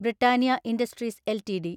Britannia industries LTD